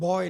Boj.